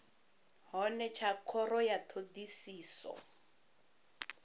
hone tsha khoro ya thodisiso